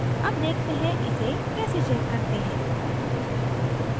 अब देखते हैं इसे कैसे check करते हैं